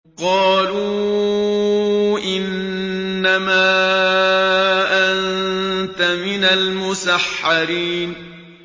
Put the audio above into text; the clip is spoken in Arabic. قَالُوا إِنَّمَا أَنتَ مِنَ الْمُسَحَّرِينَ